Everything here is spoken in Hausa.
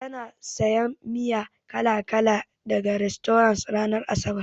Tana sayan miya kala-kala daga rastorant ranar asabar.